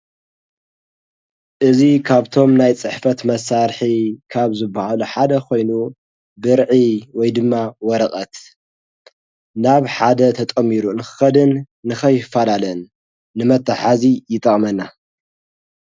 እዝ ካብቶም ናይ ጽሕፈት መሣርሒ ካብ ዘበሃሉ ሓደ ኾይኑ፤ ብርዒ ወይ ድማ ወረቐት ናብ ሓደ ተጠሚሩ ንክኸድን ንኸይፋዳለን ንመተሓዚ ይጣቕመና።